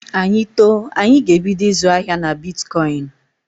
Anyị too, anyị ga-ebido ịzụ ahịa na bitkọịnị.